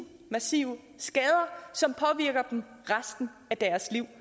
massive skader som påvirker dem resten af deres liv